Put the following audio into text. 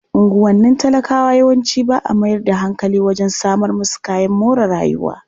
Unguwannin talakawa yawanci ba a mayar da hankali wajen samar musu kayan more rayuwa.